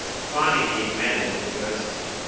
carnegie mellon university